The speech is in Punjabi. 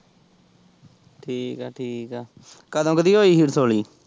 ਠੀਕ ਏ ਠੀਕ ਏ ਕਦੋਂ ਕ ਦੀ ਹੋਈ ਹੀ ਰਸੋਲੀ।